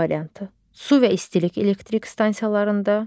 A variantı: Su və istilik elektrik stansiyalarında.